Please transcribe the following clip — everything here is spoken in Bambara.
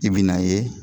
I bi n'a ye